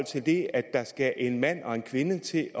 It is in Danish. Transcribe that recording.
til det at der skal en mand og en kvinde til